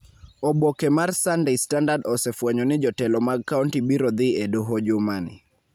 Oboke mar Sunday Standard osefwenyo ni jotelo mag kaonti biro dhi e doho jumani